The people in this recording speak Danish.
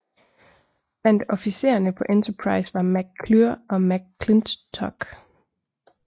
Blandt officererne på Enterprise var Mac Clure og Mac Clintock